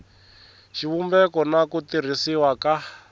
xivumbeko na ku tirhisiwa ka